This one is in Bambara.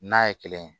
N'a ye kelen ye